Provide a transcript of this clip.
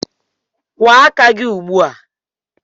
Kwụọ aka gị ugbu a!